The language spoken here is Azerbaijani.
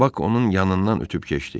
Bak onun yanından ötüb keçdi.